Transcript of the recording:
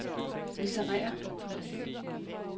litterære